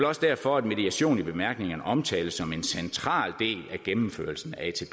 også derfor at mediation i bemærkningerne omtales som en central del af gennemførelsen af